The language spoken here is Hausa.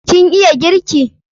Kin iya girki?